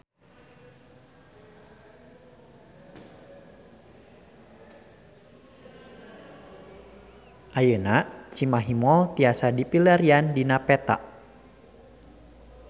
Ayeuna Cimahi Mall tiasa dipilarian dina peta